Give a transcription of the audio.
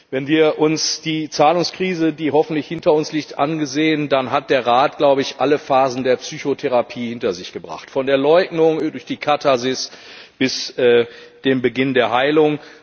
Wenn wir uns die Zahlungskrise, die hoffentlich hinter uns liegt, ansehen, dann hat der Rat alle Phasen der Psychotherapie hinter sich gebracht, von der Leugnung über die Katharsis bis zum Beginn der Heilung.